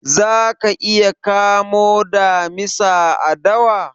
Za ka iya kamo damisa a dawa?